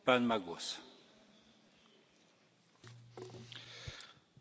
Herr Präsident, werte Frau Kommissarin, werte Kolleginnen und Kollegen!